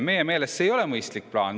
Meie meelest see ei ole mõistlik plaan.